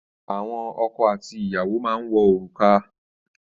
Àwọn ọkọ àti ìyàwó máa ń wọ òrùka.